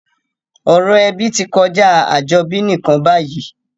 Ọ̀rọ̀ ebí ti kojá àjobí nìkan bayìí